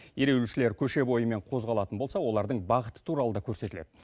ереуілшілер көше бойымен қозғалатын болса олардың бағыты туралы да көрсетіледі